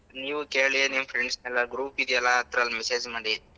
ನೀವು ಕೇಳಿ ನಿಮ್ friends ನೆಲ್ಲ group ಇದ್ಯಲ್ಲ ಅದ್ರಲ್ಲಿ message ಮಾಡಿ.